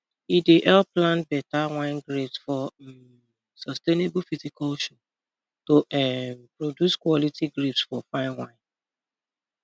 e dey help plant better wine grapes for um sustainable viticulture to um produce quality grapes for fine wine